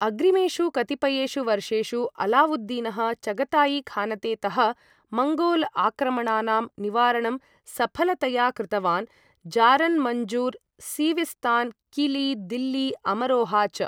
अग्रिमेषु कतिपयेषु वर्षेषु अलाउद्दीनः चगताईखानतेतः मंगोल आक्रमणानां निवारणं सफलतया कृतवान्, जारन मञ्जुर्, सिविस्तान, किली, दिल्ली, अमरोहा च ।